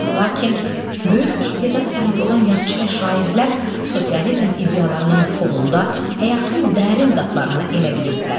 Lakin böyük istedad sahibi olan yazıçı və şairlər sosializm ideyalarının fonunda həyatın dərin qatlarına enə bilirdilər.